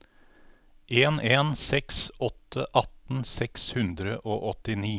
en en seks åtte atten seks hundre og åttini